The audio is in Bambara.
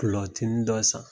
Kulɔtini dɔ san.